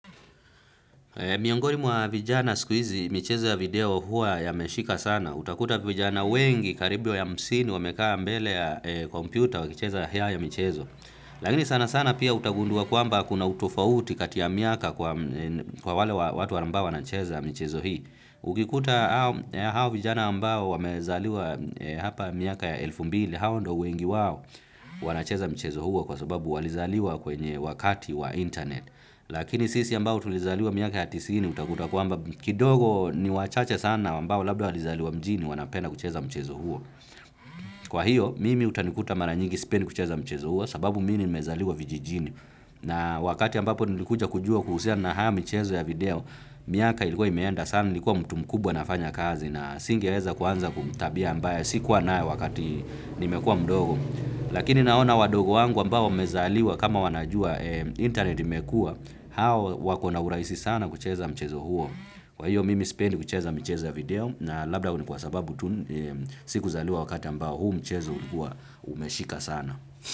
Miongoni mwa vijana wa sikuizi, michezo ya video huwa yameshika sana. Utakuta vijana wengi karibu ya hamsini wamekaa mbele ya kompyuta wakicheza ya michezo. Lagini sana sana pia utagundua kwamba kuna utofauti kati ya miaka kwa wale watu ambao wanacheza michezo hii. Ukikuta hao vijana ambao wamezaliwa hapa miaka ya elfu mbili, hao ndo wengi wao wanacheza michezo huo kwa sababu walizaliwa kwenye wakati wa internet. Lakini sisi ambao tulizaliwa miaka ya tisini utakuta kwamba kidogo ni wachache sana wambao labda walizaliwa mjini wanapenda kucheza mchezo huo. Kwa hiyo mimi utanikuta maranyingi sipendi kucheza mchezo huo sababu mi nimezaliwa vijijini. Na wakati ambapo nilikuja kujua kuhusia na haa mchezo ya video miaka ilikuwa imeenda sana nilikuwa mtu mkubwa nafanya kazi. Na singeweza kuanza kutabia ambaye si kuwa nayo wakati nimekua mdogo. Lakini naona wadogo wangu ambao wamezaliwa kama wanajua internet imekua hao wakona uraisi sana kucheza mchezo huo. Kwa hiyo mimi spendi kucheza michezo ya video na labda ni kwa sababu tu sikuzaliwa wakata ambao huu mchezo umeshika sana.